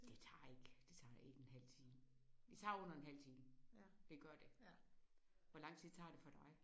Det tager ikke det tager ikke en halv time. Det tager under en halv time. Det gør det. Hvor lang tid tager det for dig?